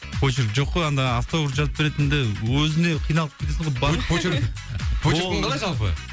почерк жоқ кой анда автограф жазып беретінде өзіне қиналып кетесің ғой почерк почеркің қалай жалпы